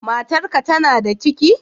Matar ka tana da ciki?